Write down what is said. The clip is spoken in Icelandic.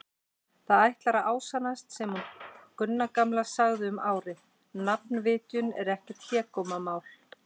Það ætlar að ásannast sem hún Gunna gamla sagði um árið: nafnvitjun er ekkert hégómamál.